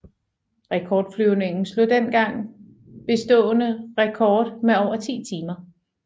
Rekordflyvningen slog den dengang bestående rekord med over 10 timer